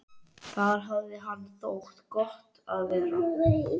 Þar hafði henni þótt gott að vera.